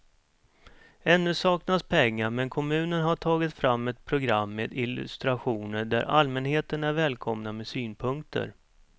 Ännu saknas pengar men kommunen har tagit fram ett program med illustrationer där allmänheten är välkomna med synpunkter.